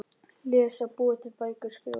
Lesa- búa til bækur- skrifa